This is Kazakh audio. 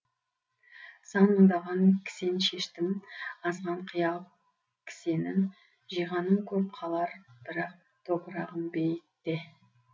сан мыңдаған кісен шештім азған қиял кісенін жиғаным көп қалар бірақ топырағым бейітте